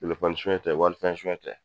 soyɛn tɛ walifɛn soyɛn.